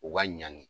U ka ɲani